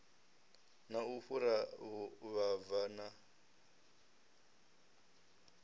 na u fhura vhuvhava na